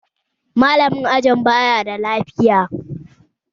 Malamin ajin baya da lafiya